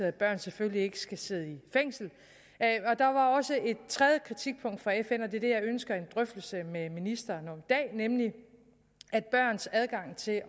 at børn selvfølgelig ikke skal sidde i fængsel og tredje kritikpunkt fra fn og det er det jeg ønsker en drøftelse med ministeren om i dag nemlig at børns adgang til at